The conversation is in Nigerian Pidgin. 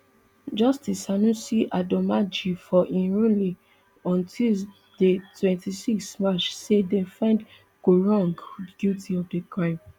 justice sanusi adomaaji for im ruling on tuesday twenty-six march say dem find quarong guilty of di crime